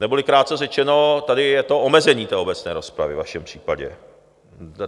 Neboli krátce řečeno, tady je to omezení té obecné rozpravy ve vašem případě.